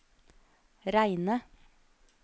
reine